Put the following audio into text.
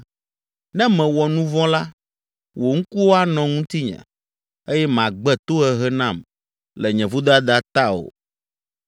Ne mewɔ nu vɔ̃ la, wò ŋkuwo anɔ ŋutinye eye màgbe tohehe nam le nye vodada ta o.